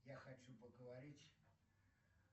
я хочу поговорить